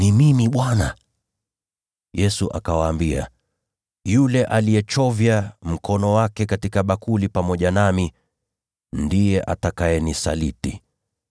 Yesu akawaambia, “Yule aliyechovya mkono wake katika bakuli pamoja nami ndiye atakayenisaliti.